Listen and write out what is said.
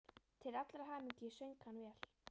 Til allrar hamingju söng hann vel!